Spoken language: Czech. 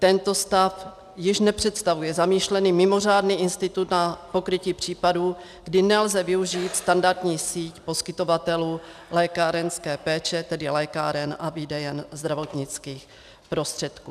Tento stav již nepředstavuje zamýšlený mimořádný institut na pokrytí případů, kdy nelze využít standardní síť poskytovatelů lékárenské péče, tedy lékáren a výdejen zdravotnických prostředků.